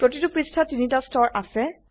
প্ৰতিটো পৃষ্ঠাত তিনটি স্তৰ আছে